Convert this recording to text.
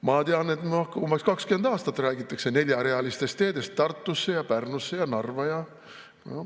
Ma tean, et umbes 20 aastat räägitakse neljarealistest teedest Tartusse ja Pärnusse ja Narva ja ...